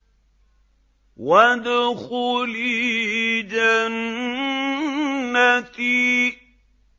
وَادْخُلِي جَنَّتِي